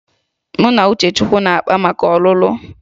Mụ na Uchechukwu na-akpá maka ọlụlụ